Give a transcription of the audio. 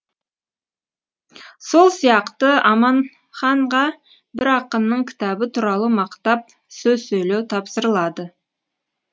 сол сияқты аманханға бір ақынның кітабы туралы мақтап сөз сөйлеу тапсырылады